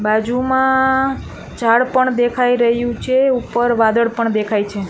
બાજુમાં ઝાડ પણ દેખાય રહ્યું છે ઉપર વાદળ પણ દેખાય છે.